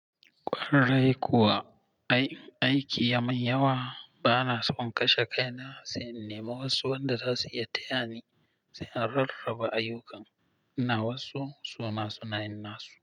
Kwarai kuwa, aiki ya maye yawa bana so in kashe kaina sai in nema wasu wanda za su iya tayani sai in rarraba ayukan. Ina wasu suna sunayin nasu.